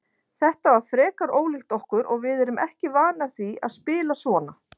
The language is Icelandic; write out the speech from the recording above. Þetta var frekar ólíkt okkur og við erum ekki vanar því að spila svona.